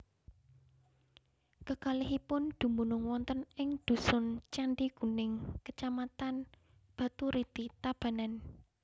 Kekalihipun dumunung wonten ing dusun Candi Kuning Kecamatan Baturiti Tabanan